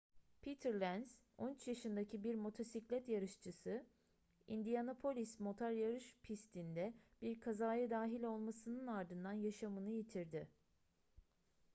peter lenz 13 yaşındaki bir motosiklet yarışçısı indianapolis motor yarış pisti'nde bir kazaya dahil olmasının ardından yaşamını yitirdi